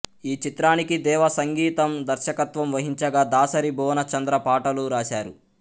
ఈ చిత్రానికి దేవా సంగీత దర్శకత్వం వహించగా దాసరి భువనచంద్ర పాటలు రాశారు